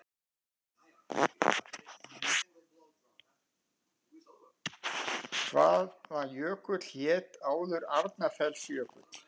Hvaða jökull hét áður Arnarfellsjökull?